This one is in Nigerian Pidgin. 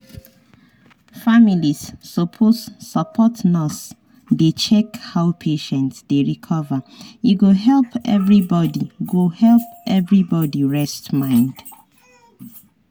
families suppose support nurse dey check how patient dey recover e go help everybody go help everybody rest mind.